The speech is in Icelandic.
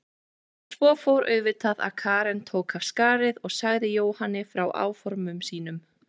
En svo fór auðvitað að Karen tók af skarið og sagði Jóhanni frá áformum sínum.